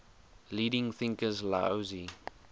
leading thinkers laozi